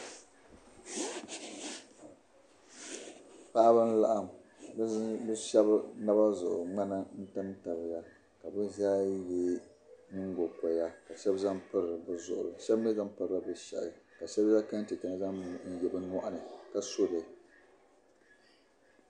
Paɣiba n-laɣim bishab naba zuɣu. mŋana n tamtamya. ka bi zaa ye nyiŋgo koya ka shabi zaŋ piri bi zuɣuri shab mi zaŋ pɔbla bi shehi ka shab zaŋ kentɛ nima n-zaŋ yela bi nyɔɣini, ka soli.